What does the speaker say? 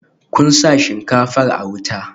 Kun sa shinkafar a wuta?